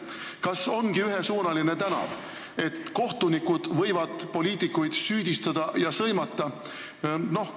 Kas ongi ühesuunaline tänav, et kohtunikud võivad poliitikuid süüdistada ja sõimata?